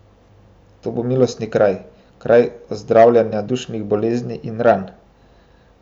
To bo milostni kraj, kraj ozdravljenja dušnih bolezni in ran.